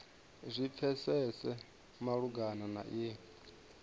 zwi pfesese malugana na iyi